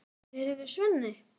Heyrðu, Svenni.